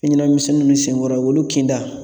Fɛɲɛnama minsɛnninw nunnu senkɔrɔ olu kinda